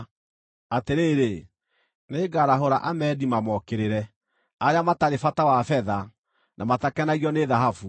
Atĩrĩrĩ, nĩngarahũra andũ a Amedi mamookĩrĩre, arĩa matarĩ bata wa betha, na matakenagio nĩ thahabu.